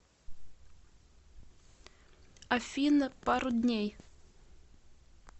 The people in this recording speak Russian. афина пару дней